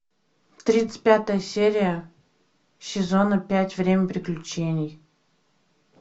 тридцать пятая серия сезона пять время приключений